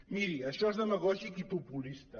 miri això és demagògic i populista